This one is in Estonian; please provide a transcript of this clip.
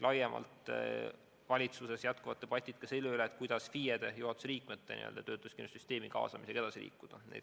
Valitsuses jätkuvad debatid ka selle üle, kuidas FIE-de ja juhatuse liikmete töötuskindlustussüsteemi kaasamisega edasi liikuda.